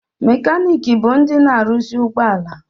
Mekanịkị bụ ndị na-arụzị ụgbọala